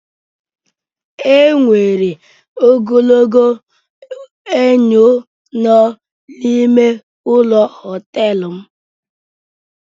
E nwere ogologo enyo nọ n'ime ụlọ họtelụ m.